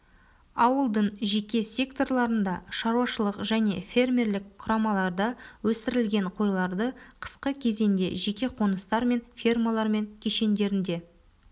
ауылдың жеке секторларында шаруашылық және фермерлік құрамаларда өсірілген қойларды қысқы кезеңде жеке қоныстар мен фермалар мен кешендерінде